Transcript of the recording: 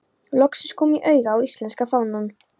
Loksins kom ég auga á íslenska fánann.